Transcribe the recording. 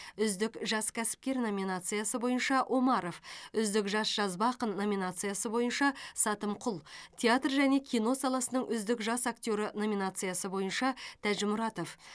үздік жас кәсіпкер номинациясы бойынша омаров үздік жас жазба ақын номинациясы бойынша сатымқұл театр және кино саласының үздік жас актері номинациясы бойынша тәжімұратов